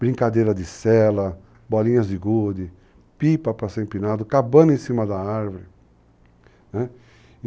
Brincadeira de sela, bolinhas de gude, pipa para ser empinado, cabana em cima da árvore, né?